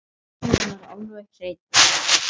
Botninn alveg hreinn.